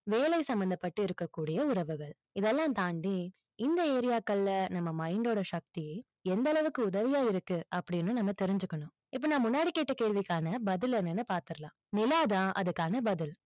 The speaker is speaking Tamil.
வேலை சம்மந்தப்பட்டு இருக்கக்கூடிய உறவுகள். இதெல்லாம் தாண்டி, இந்த area க்கள்ல நம்ம mind டோட சக்தி, எந்த அளவுக்கு உதவியா இருக்கு, அப்படின்னு நம்ம தெரிஞ்சுக்கணும். இப்போ நான் முன்னாடி கேட்ட கேள்விக்கான பதில் என்னன்னு பார்த்தறலாம். நிலா தான் அதுக்கான பதில்.